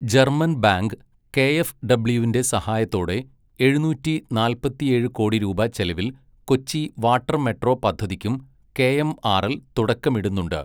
German bank K F ഡബ്യുവിന്റെ സഹായത്തോടെ ഏഴുനൂറ്റി നാല്പത്തിയേഴ് കോടി രൂപ ചെലവിൽ കൊച്ചി വാട്ടർ മെട്രോ പദ്ധതിക്കുo കെഎംആർഎൽ തുടക്കമിടുന്നുണ്ട്.